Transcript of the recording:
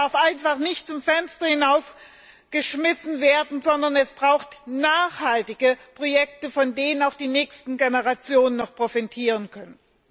Das Geld darf nicht einfach zum Fenster hinaus geschmissen werden, sondern es braucht nachhaltige Projekte, von denen auch die nächsten Generationen noch profitieren können.